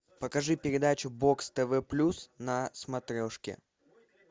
покажи передачу бокс тв плюс на смотрешке